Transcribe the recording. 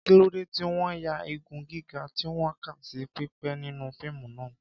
Kí ló dé tí wọ́n ya igun gíga tí wọ́n kà sí pípé nínú fíìmù náà?